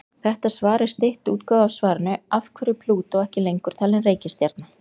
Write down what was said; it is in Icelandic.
Þetta svar er stytt útgáfa af svarinu Af hverju er Plútó ekki lengur talin reikistjarna?